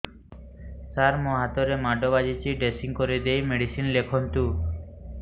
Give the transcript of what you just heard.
ସାର ମୋ ହାତରେ ମାଡ଼ ବାଜିଛି ଡ୍ରେସିଂ କରିଦେଇ ମେଡିସିନ ଲେଖନ୍ତୁ